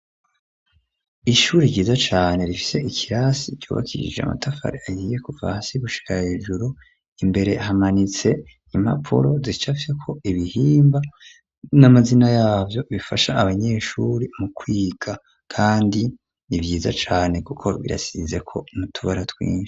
Ishuri ryiza cane rifise ikirasi cubakishije amatafari ahiye kuva hasi gushira hejuru ,imbere hamanitse impapuro zicafyeko ibihimba n'amazina yavyo bifasha abanyeshuri mu kwiga ,kandi nivyiza cane kuko birasizeko n'utubara twinshi.